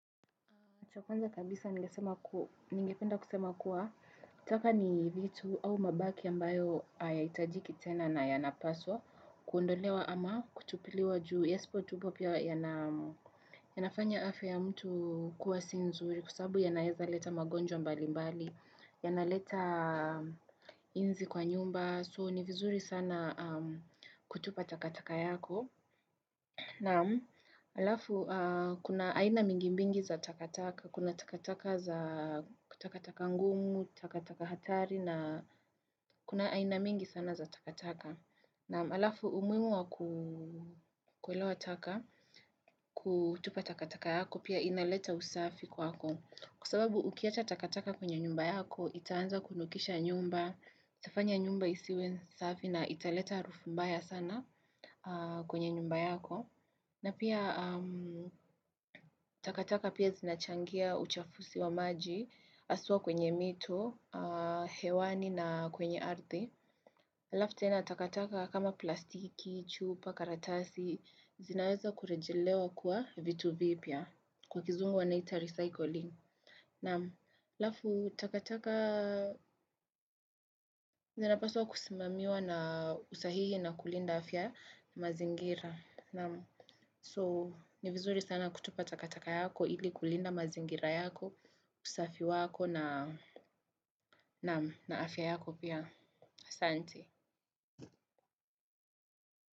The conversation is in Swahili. Chakwanza kabisa ningependa kusema kuwa, taka ni vitu au mabaki ambayo hayaitajiki tena na yanapaswa, kuondolewa ama kutupiliwa juu yasipo tupwa pia yanafanya afya ya mtu kuwa si nzuri, kwasababu yanaweza kuleta magonjwa mbali mbali, ya naletaa inzi kwa nyumba, so ni vizuri sana kutupa takataka yako. Na alafu, kuna aina nyingi nyingi za takataka, kuna takataka za takataka ngumu, takataka hatari na kuna aina mingi sana za takataka. Na alafu, umihimu wa kuelewa taka, kutupa takataka zako, pia inaleta usafi kwako. Kwasababu, ukiacha takataka kwenye nyumba yako, itaanza kunukisha nyumba, itafanya nyumba isiwe safi na italeta harufu mbaya sana kwenye nyumba yako. Na pia takataka zinachangia uchafuzi wa maji, haswa kwenye mito, hewani na kwenye ardi. Halafu tena takataka kama plastiki, chupa, karatasi, zinaweza kurejelewa kuwa vitu vipya, kwa kizungu wanaita recycling. Na halafu takatakaa zinapaswa kusimamiwa kwa usahihi na kulinda afya ya mazingira. So, ni vizuri sana kutupa takataka zako ili kulinda mazingira yako, usafi wako na afya yako pia. Ahsante.